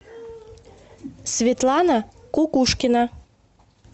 светлана кукушкина